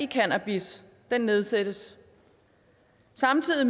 cannabis nedsættes samtidig